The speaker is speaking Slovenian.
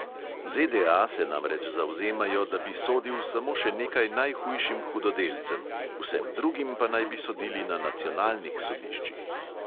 ZDA se namreč zavzemajo, da bi sodil samo še nekaj najhujšim hudodelcem, vsem drugim pa naj bi sodili na nacionalnih sodiščih.